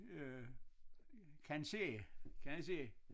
Øh kan ske kan ske